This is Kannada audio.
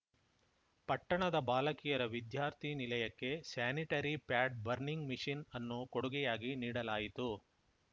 ಪಟ್ಟಣದ ಬಾಲಕಿಯರ ವಿದ್ಯಾರ್ಥಿ ನಿಲಯಕ್ಕೆ ಸ್ಯಾನಿಟರಿ ಪ್ಯಾಡ್‌ ಬರ್ನಿಂಗ್‌ ಮಿಷಿನ್‌ ಅನ್ನು ಕೊಡುಗೆಯಾಗಿ ನೀಡಲಾಯಿತು